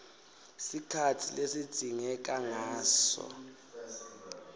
sikhatsi lesidzingeka ngaso